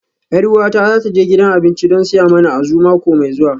Yar uwata za ta je gidan abinci don siya mana Azu mako mai zuwa